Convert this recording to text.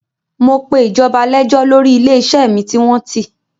Mo pe ìjọba lẹ́jọ́ lọrí ilé-iṣẹ́ mi tí wọ́n tì.